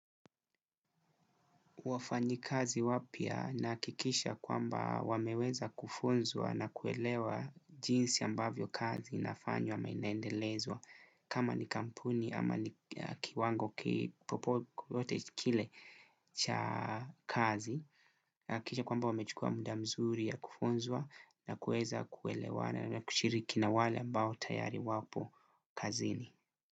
Wafanyi kazi wapya na hakikishaya kwamba wameweza kufunzwa na kuelewa jinsi ambavyo kazi inafanywa ama inaendelezwa kama ni kampuni ama ni kiwango kipopo yote kile cha kazi. Nahakikisha kwamba wamechukua muda mzuri ya kufunzwa na kueza kuelewa na kuchiriki na wale ambao tayari wapo kazini.